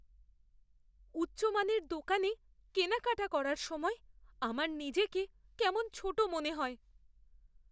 উচ্চমানের দোকানে কেনাকাটা করার সময় আমার নিজেকে কেমন ছোট মনে হয়।